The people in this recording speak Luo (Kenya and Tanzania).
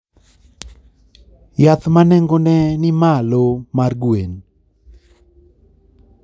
Yath ma nengone ni malo mar gwen.